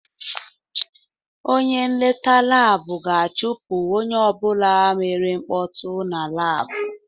Onye nleta laabu ga-achụpụ onye ọbụla mere mkpọtụ na laabụ.